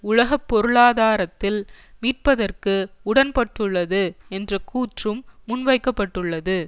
உலக பொருளாதாரத்தில் மீட்பதற்கு உடன்பட்டுள்ளது என்ற கூற்றும் முன்வைக்க பட்டுள்ளது